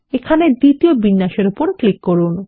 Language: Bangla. এখানে দ্বিতীয় বিন্যাসে উপর ক্লিক করুন